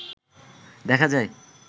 দেখা যায়